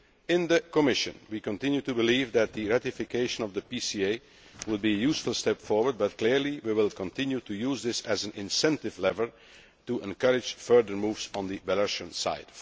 In the Commission, we continue to believe that the ratification of the PCA will be a useful step forward, but clearly we will continue to use this as an incentive lever to encourage further moves on the Belarusian side.